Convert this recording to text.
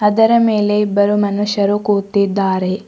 ಇದರ ಮೇಲೆ ಇಬ್ಬರು ಮನುಷ್ಯರು ಕೂತಿದ್ದಾರೆ.